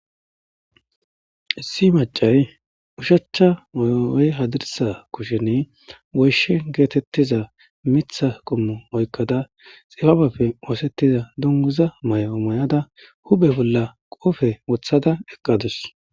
Issi macay ushachcha mayooy hadirsa kushen woyshe geetettiza mitha qummo oykkada xifabapfe oosettiza dunguza may7o may7ada hube bolla qofe wothada eqqadus.